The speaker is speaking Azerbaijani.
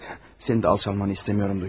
Sənin də alçalmağını istəmirəm Dunya.